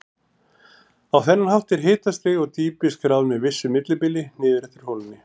Á þennan hátt er hitastig og dýpi skráð með vissu millibili niður eftir holunni.